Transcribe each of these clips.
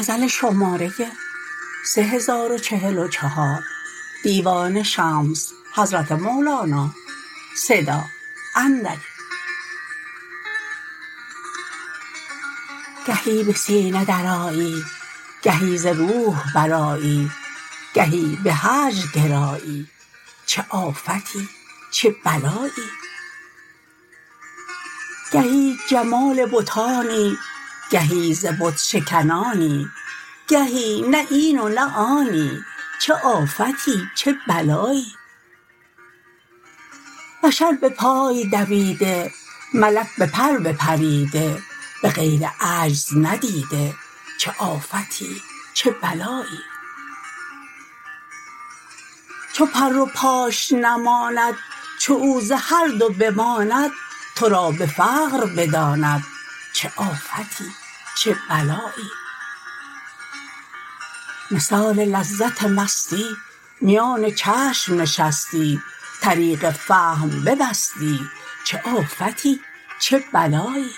گهی به سینه درآیی گهی ز روح برآیی گهی به هجر گرایی چه آفتی چه بلایی گهی جمال بتانی گهی ز بت شکنانی گهی نه این و نه آنی چه آفتی چه بلایی بشر به پای دویده ملک به پر بپریده به غیر عجز ندیده چه آفتی چه بلایی چو پر و پاش نماند چو او ز هر دو بماند تو را به فقر بداند چه آفتی چه بلایی مثال لذت مستی میان چشم نشستی طریق فهم ببستی چه آفتی چه بلایی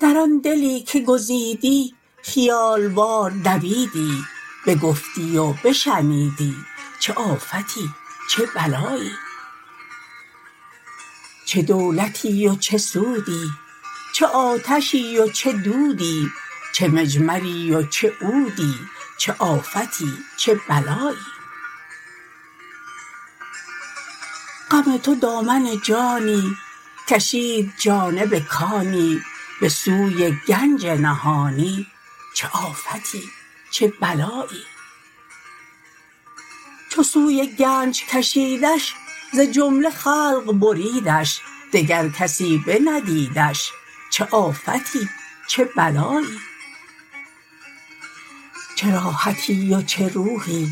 در آن دلی که گزیدی خیال وار دویدی بگفتی و بشنیدی چه آفتی چه بلایی چه دولتی ز چه سودی چه آتشی و چه دودی چه مجمری و چه عودی چه آفتی چه بلایی غم تو دامن جانی کشید جانب کانی به سوی گنج نهانی چه آفتی چه بلایی چه سوی گنج کشیدش ز جمله خلق بریدش دگر کسی بندیدش چه آفتی چه بلایی چه راحتی و چه روحی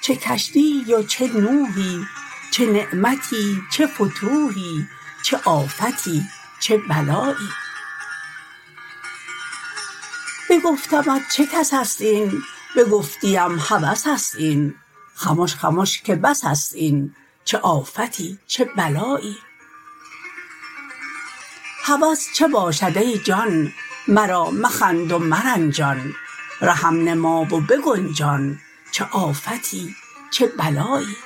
چه کشتیی و چه نوحی چه نعمتی چه فتوحی چه آفتی چه بلایی بگفتمت چه کس است این بگفتیم هوس است این خمش خمش که بس است این چه آفتی چه بلایی هوس چه باشد ای جان مرا مخند و مرنجان رهم نما و بگنجان چه آفتی چه بلایی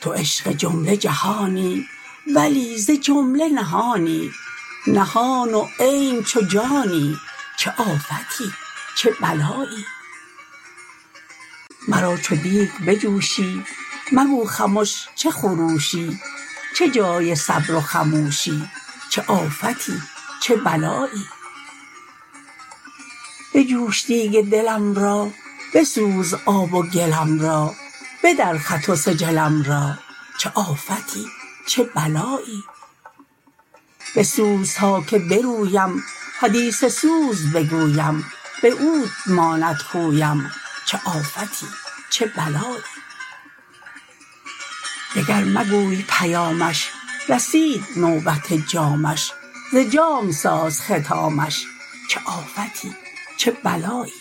تو عشق جمله جهانی ولی ز جمله نهانی نهان و عین چو جانی چه آفتی چه بلایی مرا چو دیک بجوشی مگو خمش چه خروشی چه جای صبر و خموشی چه آفتی چه بلایی بجوش دیک دلم را بسوز آب و گلم را بدر خط و سجلم را چه آفتی چه بلایی بسوز تا که برویم حدیث سوز بگویم به عود ماند خویم چه آفتی چه بلایی دگر مگوی پیامش رسید نوبت جامش ز جام ساز ختامش چه آفتی چه بلایی